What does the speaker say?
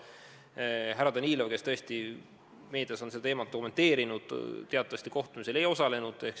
Härra Danilov, kes tõesti on meedias seda teemat kommenteerinud, teatavasti kohtumisel ei osalenud.